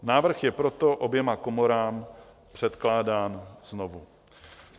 Návrh je proto oběma komorám předkládán znovu.